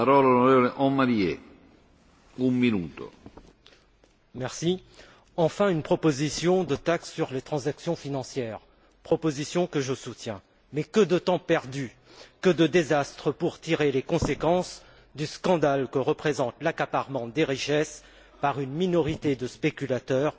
Monsieur le Président, enfin une proposition de taxe sur les transactions financières, proposition que je soutiens. Mais que de temps perdu, que de désastres pour tirer les conséquences du scandale que représente l'accaparement des richesses par une minorité de spéculateurs